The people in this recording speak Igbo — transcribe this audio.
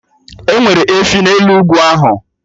Enwere efi n'elu ugwu ahụ